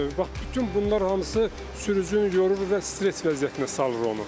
Bax bütün bunlar hamısı sürücünü yorur və stres vəziyyətinə salır onu.